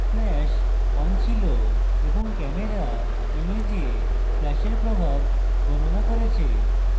flash on ছিল এবং camera image ফ্ল্যাশের প্রভাব গনণা করেছে